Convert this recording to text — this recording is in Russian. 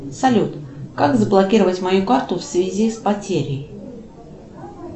салют как заблокировать мою карту в связи с потерей